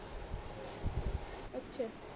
ਅੱਛਾ